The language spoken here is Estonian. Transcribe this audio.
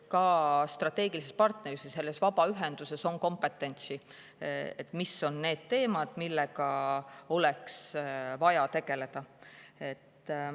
Ka strateegilisel partneril või vabaühendusel on kompetentsi, et otsustada, mis teemadega oleks vaja tegeleda.